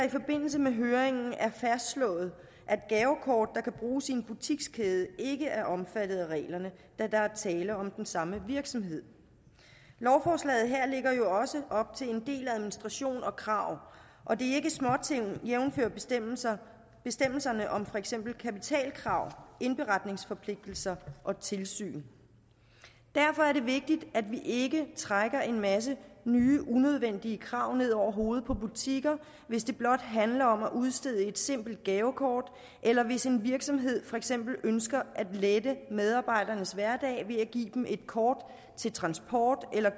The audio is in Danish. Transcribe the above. i forbindelse med høringen er fastslået at gavekort der kan bruges i en butikskæde ikke er omfattet af reglerne da der er tale om den samme virksomhed lovforslaget her lægger jo også op til en del administration og krav og det er ikke småting jævnfør bestemmelserne bestemmelserne om for eksempel kapitalkrav indberetningsforpligtelser og tilsyn derfor er det vigtigt at vi ikke trækker en masse nye unødvendige krav ned over hovedet på butikker hvis det blot handler om at udstede et simpelt gavekort eller hvis en virksomhed for eksempel ønsker at lette medarbejdernes hverdag ved at give dem et kort til transport eller